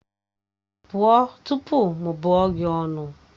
Pụọ tupu m bụọ gị ọnụ!